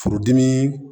Furudimi